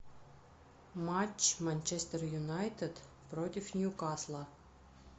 матч манчестер юнайтед против ньюкасла